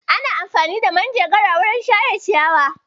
Ana amfani da manjagara wajen share ciyayi.